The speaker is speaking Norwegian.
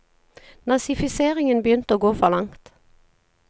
Nazifiseringen begynte å gå for langt.